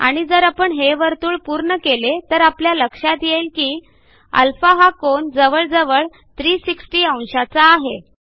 आणि जर आपण हे वर्तुळ पूर्ण केले तर आपल्या लक्षात येईल की α हा कोन जवळजवळ 360 अंशाचा आहे